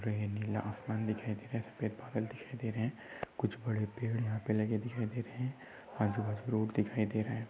रहे नीला आसमान सफ़ेद बादल दिखाइए दे रही है कुछ बड़े पेड़ यहां पर लगे दिखाई दे रहे हैं आजू बाजू रोड दिखाई दे रहा है।